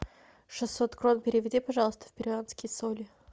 шестьсот крон переведи пожалуйста в перуанские соли